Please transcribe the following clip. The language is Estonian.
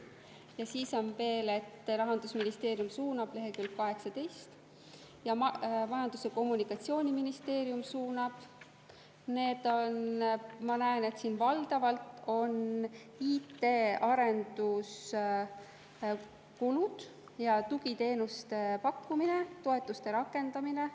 Ja siis on veel: Rahandusministeerium suunab – lehekülg 18 – ja Majandus‑ ja Kommunikatsiooniministeerium suunab – need on, ma näen, valdavalt IT arenduskulud ja tugiteenuste pakkumine, toetuste rakendamine.